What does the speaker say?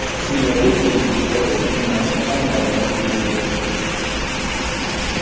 Singapur to‘rtinchi bor eng qimmat shahar nomini qo‘lga kiritdi.